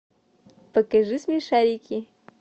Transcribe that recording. покажи смешарики